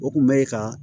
O kun bɛ ka